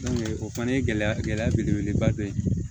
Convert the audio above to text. o fana ye gɛlɛya gɛlɛya belebeleba dɔ ye